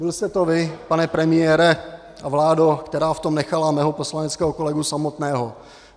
Byl jste to vy, pane premiére a vládo, kdo v tom nechali mého poslaneckého kolegu samotného.